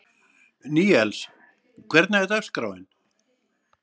Níels, hvernig er dagskráin?